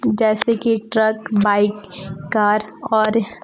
जैसे कि truck bike car और--